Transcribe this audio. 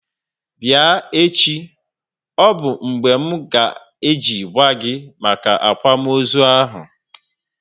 Bịa echi! Ọ bụ mgbe m nga eji gwa gi maka akwamozu ahu